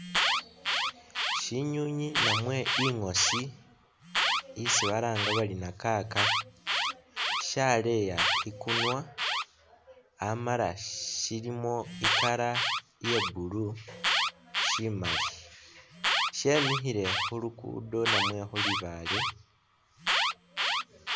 Syinywinywi namwe ingosi isi balanga bari nakaka shaleya ikunwa amala shilimo i'color iya blue shimaali, shemikhile khu lugudo namwe khu libaale.